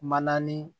Manani